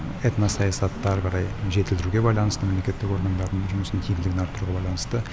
этно саясатты ары қарай жетілдіруге байланысты мемлекеттік органдардың жұмысын тиімділігін арттыруға байланысты